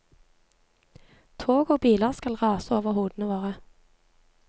Tog og biler skal rase over hodene våre.